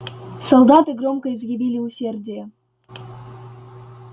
солдаты громко изъявили усердие